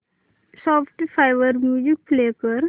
Spotify वर music play कर